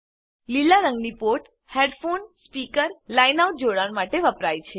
લીલા રંગની port headphone speaker કે લાઈન આઉટ જોડાણ માટે વપરાય છે